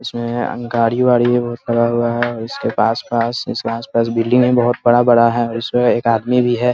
इसमें गाड़ी-वाड़ी बहुत पड़ा हुआ है इसके पास-पास इसके आस पास में बिल्डिंग भी बहुत बड़ा-बड़ा है और इसमें एक आदमी भी है ।